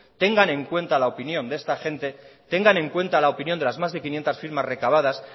tengan en cuenta la opinión de esta gente tengan en cuenta la opinión de las más de quinientos firmas recabadas